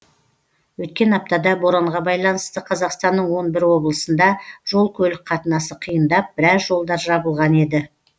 өткен аптада боранға байланысты қазақстанның он бір облысында жол көлік қатынасы қиындап біраз жолдар жабылған еді